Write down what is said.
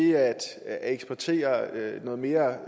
at kunne eksportere noget mere